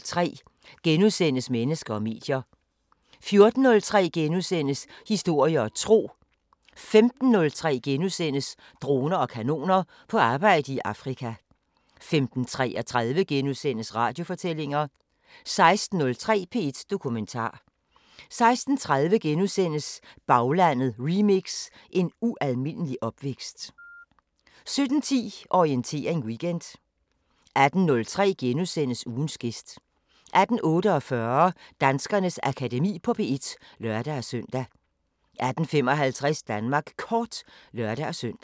13:03: Mennesker og medier * 14:03: Historie og Tro * 15:03: Droner og kanoner : På arbejde i Afrika * 15:33: Radiofortællinger * 16:03: P1 Dokumentar 16:30: Baglandet remix: En ualmindelig opvækst * 17:10: Orientering Weekend 18:03: Ugens gæst * 18:48: Danskernes Akademi på P1 (lør-søn) 18:55: Danmark Kort (lør-søn)